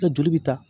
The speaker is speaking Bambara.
I ka joli bi taa